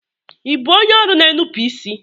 Ibu onye ọrụ n'enupu isi?